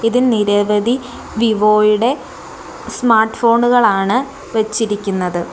ഇതിൽ നിരവധി വിവോ യുടെ സ്മാർട്ട് ഫോണു കളാണ് വെച്ചിരിക്കുന്നത്.